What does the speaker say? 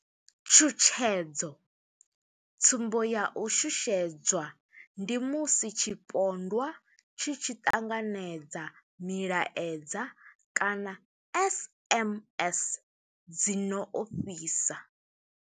Tshutshedzo, Tsumbo ya u shushedzwa ndi musi tshipondwa tshi tshi ṱanganedza milaedza kana SMS dzi no ofhisa.